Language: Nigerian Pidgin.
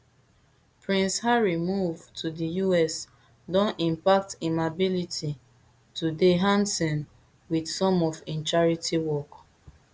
prince harry move to di us don impact im ability to dey handson wit some of im charity work